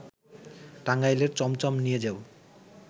টাঙ্গাইলের চমচম নিয়ে যেও